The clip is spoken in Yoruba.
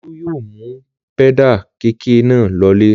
Olú yóò mú pẹ́dà kẹ̀kẹ́ náà lọlé.